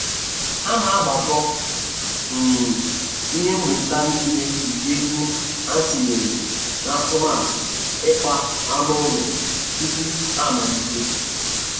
Ha na-agbakọ um ihe.nnweta nile nke ego ha tinyere n'atụmatụ ikpa anụ ụlọ tupu ha amalite.